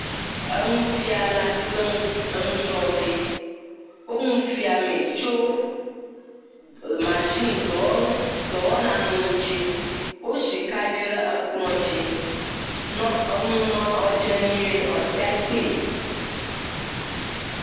Enufiala kple enusrɔ̃vi, wonu fiamee rso mashin dɔwɔna ŋuti, woi kaɖi ɖe ekplɔ dzi ne nuawo na dze nyui be wòate ŋu akpɔe.